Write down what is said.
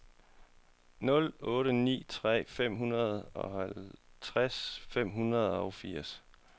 nul otte ni tre femoghalvtreds fem hundrede og firs